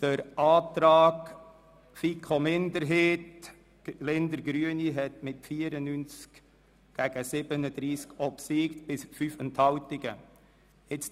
Der Antrag FiKo-Minderheit und Linder/Grüne hat mit 94 gegen 37 Stimmen bei 5 Enthaltungen obsiegt.